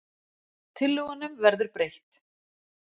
Tillögunum verður breytt